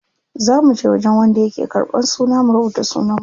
Za muje wajen wanda yake ƙarban suna mu rubuta sunan mu.